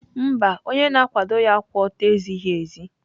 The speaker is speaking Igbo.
Mba, onye na-akwado ya kwụ ọtọ ezighi ezi.